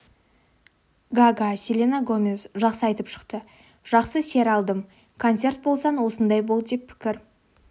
гага селена гомез жақсы айтып шықты жақсы сер алдым концерт болсаң осындай бол деп пікір